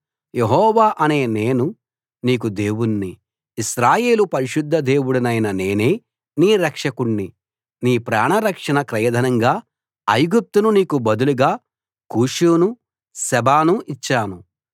యెహోవా అనే నేను నీకు దేవుణ్ణి ఇశ్రాయేలు పరిశుద్ధ దేవుడినైన నేనే నీ రక్షకుణ్ణి నీ ప్రాణరక్షణ క్రయధనంగా ఐగుప్తును నీకు బదులుగా కూషును సెబాను ఇచ్చాను